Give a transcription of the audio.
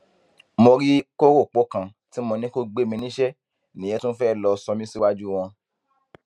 mo rí kọrọpọ kan tí mo ní kó gbé mi níṣẹ nìyẹn tún fẹẹ lọọ sọ mí síwájú wọn